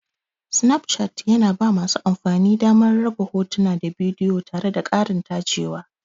Snapchart yana ba masu amfani damar raba hotuna da bidiyo tare da ƙarin tacewa.